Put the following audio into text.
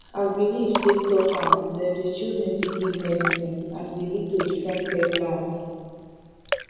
as belief take talk am dem dey choose native leaf medicine and e dey lead to different care plans